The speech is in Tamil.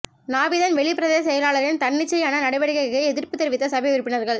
நாவிதன்வெளி பிரதேச செயலாளரின் தன்னிச்சையான நடவடிக்கைக்கு எதிர்ப்பு தெரிவித்த சபை உறுப்பினர்கள்